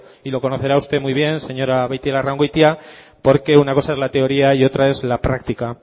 y lo conocerá usted muy bien señora beitialarrangoitia porque una cosa es la teoría y otra es la práctica